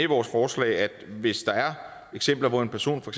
vores forslag at hvis der er eksempler hvor en person for